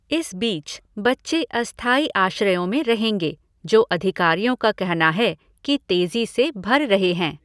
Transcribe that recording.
इस बीच, बच्चे अस्थायी आश्रयों में रहेंगे, जो अधिकारियों का कहना है कि तेज़ी से भर रहे हैं।